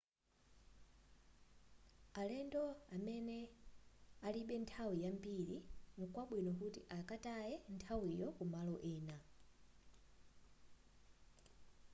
alendo amene alibe nthawi yambiri nkwabwino kuti akataye nthawiyo ku malo ena